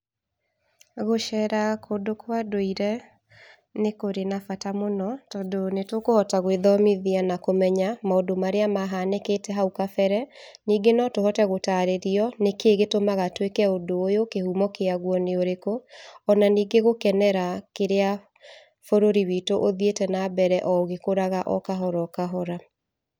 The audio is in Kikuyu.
Gũcera kũndũ kwa ndũire nĩkũrĩ na bata mũno, tondũ nĩtũkũhota gwĩthomithia na kũmenya maũndũ marĩa mahanĩkĩte hau kebere. Ningĩ no tũhote gũtarĩrio nĩkĩĩ gĩtũmaga twĩke ũndũ ũyũ, kĩhumo kĩagwo nĩ ũrikũ ona ningĩ gũkenera kĩrĩa bũrũri witũ ũthiĩte na mbere ũgĩkũraga okahora okahora.